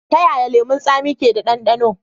Ta yaya lemun tsami ke da ɗandano?